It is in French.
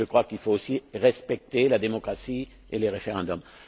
Je crois qu'il faut aussi respecter la démocratie et les référendums.